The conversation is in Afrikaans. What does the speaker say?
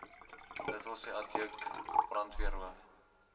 dws adjunk brandweerhoof